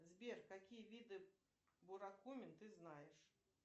сбер какие виды буракумин ты знаешь